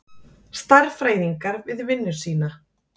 Stærðfræðingar við vinnu sína.